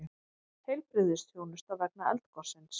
Heilbrigðisþjónusta vegna eldgossins